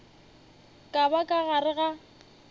ka ba ka gare ga